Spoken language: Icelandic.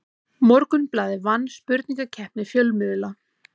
Morgunblaðið vann spurningakeppni fjölmiðla